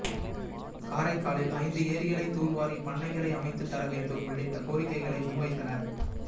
காரைக்காலில் ஐந்து ஏரிகளை தூர்வாரி பண்ணைகளை அமைத்து தர வேண்டும் உள்ளிட்ட கோரிக்கைகளை முன்வைத்தனர்